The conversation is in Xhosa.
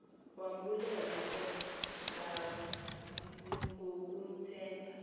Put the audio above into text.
wambulela ke ngakumthemba